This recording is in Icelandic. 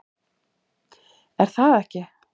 Er það ekki